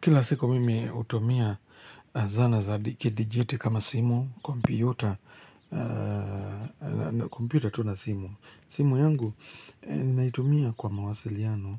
Kila siku mimi hutumia zana za dikidijiti kama simu, kompyuta, kompyuta tu na simu. Simu yangu naitumia kwa mawasiliano